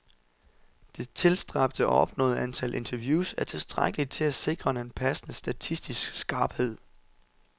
Det tilstræbte og opnåede antal interviews er tilstrækkeligt til at sikre en passende statistisk skarphed.